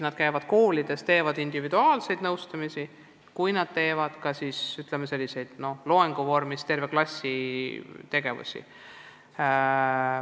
Nad käivad koolides, teevad individuaalseid nõustamisi ja peavad loenguid ka tervetele klassidele.